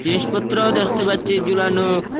জিনিসপত্রও দেখতে পাচ্ছি জুলানো ।